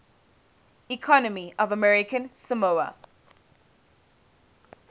economy of american samoa